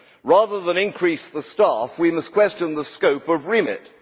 Rather than increase the staff, we must question the scope of REMIT.